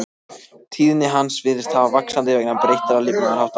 Tíðni hans virðist fara vaxandi vegna breyttra lifnaðarhátta.